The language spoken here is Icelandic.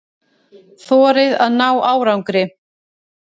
Þorið að ná árangri.